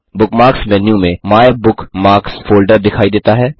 bookmarks menu में my bookmarks folder दिखाई देता है